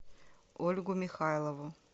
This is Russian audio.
ольгу михайлову